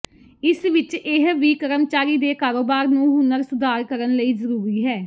ਇਸ ਵਿਚ ਇਹ ਵੀ ਕਰਮਚਾਰੀ ਦੇ ਕਾਰੋਬਾਰ ਨੂੰ ਹੁਨਰ ਸੁਧਾਰ ਕਰਨ ਲਈ ਜ਼ਰੂਰੀ ਹੈ